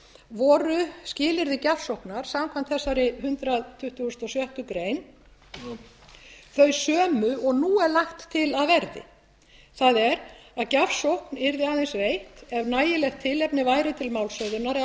voru skilyrði gjafsóknar samkvæmt þessari hundrað tuttugasta og sjöttu grein þau sömu og nú er lagt til að verði það er að gjafsókn yrði aðeins veitt ef nægilegt tilefni væri til málshöfðunar eða